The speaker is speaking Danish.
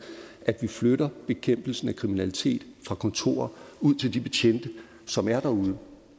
at vi flytter bekæmpelsen af kriminalitet fra kontorer og ud til de betjente som er derude